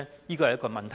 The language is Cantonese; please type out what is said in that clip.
這是一個問題。